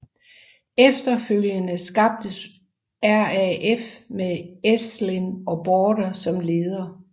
Efterfølgende skabtes RAF med Ensslin og Baader som ledere